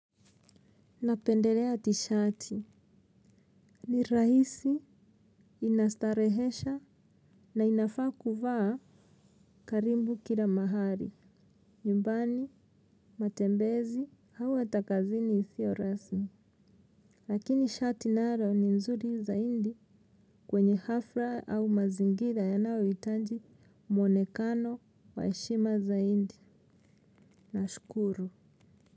Napendelea tishati. Ni rahisi, ina starehesha na inafaa kuvaa karibu kila mahali. Nyumbani, matembezi, au hata kazini isio rasmi. Lakini shati nalo ni nzuri zaidi kwenye hafla au mazingira yanayohitaji mwonekano wa heshima zaidi. Nashukuru.